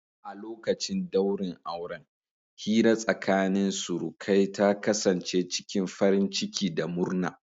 A lokacin daurin auren, hira tsakanin surukai ta kasance cikin farin ciki da murna.